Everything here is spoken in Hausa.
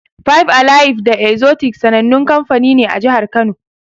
Five alive da Exotic sanannun kamfanoni ne a jihar Kano.